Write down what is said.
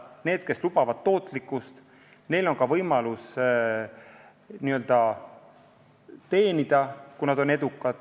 Neil, kes lubavad tootlikkust, on ka võimalus teenida, kui nad on edukad.